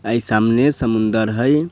ए सामने समुंद्र हेय।